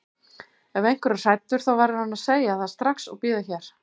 Ef einhver er hræddur þá verður hann að segja það strax og bíða hér.